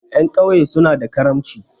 Ƴan ƙauye suna da karamci.